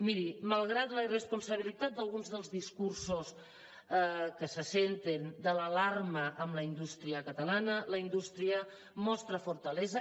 miri malgrat la irresponsabilitat d’alguns dels discursos que se senten de l’alarma en la indústria catalana la indústria mostra fortalesa